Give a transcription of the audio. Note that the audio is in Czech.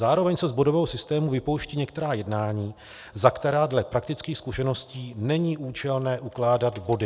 Zároveň se z bodového systému vypouští některá jednání, za která dle praktických zkušeností není účelné ukládat body.